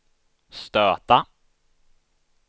stöta